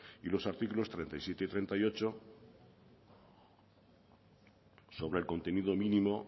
y los artículos treinta y siete y treinta y ocho sobre el contenido mínimo